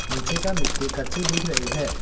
नीचे का मिट्टी कच्ची दिख रही है।